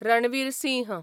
Ranveer Singh